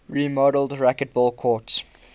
remodeled racquetball courts